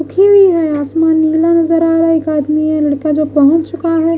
उखी हुई है आसमान नीला नजर आ रहा है एक आदमी है लड़का है जो पहुंच चुका है।